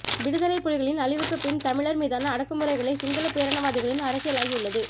விடுதலைப்புலிகளின் அழிவுக்குப் பின் தமிழர் மீதான அடக்குமுறைகளே சிங்களப் பேரினவாதிகளின் அரசியலாகியுள்ளது